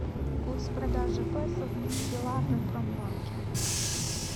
курс продажи песо в белагропромбанке